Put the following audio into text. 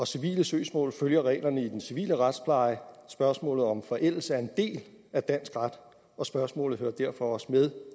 civile søgsmål følger reglerne i den civile retspleje spørgsmålet om forældelse er en del af dansk ret og spørgsmålet hører derfor også med